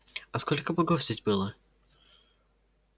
а сколько богов здесь было